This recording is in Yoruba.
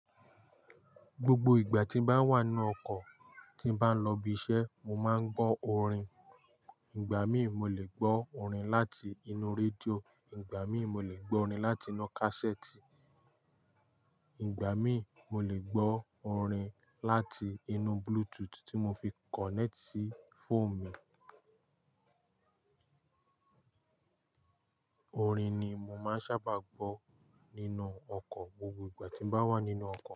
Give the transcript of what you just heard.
Gbogbo ìgbà tí n bá wà nínú ọkọ̀ tí n bá ń lọ ibi iṣẹ́, mo máa ń gbọ́ orin. Ìgbà míì mo lè gbọ́ orin láti inú rédíò, ìgbà míì mo lè gbọ́ orin láti inú kásẹ́ẹ̀tì, ìgbà míì mo lè gbọ́ orin láti inú Bluetooth tí mo fi kọ̀nẹ́ẹ̀tì sí fóònù mi. Orin ni mo máa ń sábà gbọ́ nínú ọkọ̀ gbogbo ìgbà tí n bá wà nínú ọkọ̀.